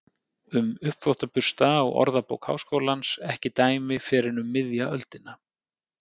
Um uppþvottabursta á Orðabókar Háskólans ekki dæmi fyrr en um miðja öldina.